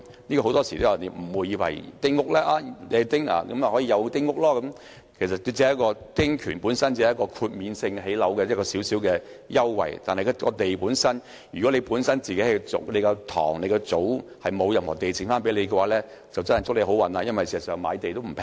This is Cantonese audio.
大家很多時都誤會了，以為男丁便有丁屋，其實只是一個丁權，建屋可獲豁免申請的小小優惠，但如果某人本身的祖堂沒有留下任何土地，便根本沒有關係，因為現在買地也不便宜。